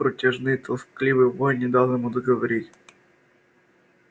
протяжные тоскливый вой не дал ему договорить